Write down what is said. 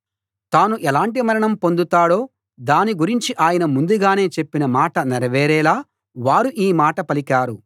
తాను ఎలాంటి మరణం పొందుతాడో దాని గురించి ఆయన ముందుగానే చెప్పిన మాట నెరవేరేలా వారు ఈ మాట పలికారు